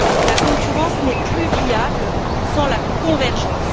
La concurrence n'est plus viable sans la convergence.